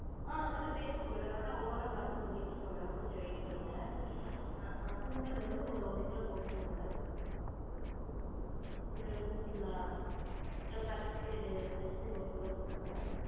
ஆஹ் அதெல்லாம் வேணுங்க madam அதான் ஒவ்வொன்னா பாத்து சொல்லிட்டிருக்கன் madam கொஞ்சம் wait பன்னுங்க அஹ் சுண்டல் வந்து ஒரு ஒரு கிலோ போற்றுங்க madam சுண்டல் போட்டிங்களா? அப்றம் பச்சப்பயிறு பச்சப்பயிறு ஒரு கிலோ போற்றுங்க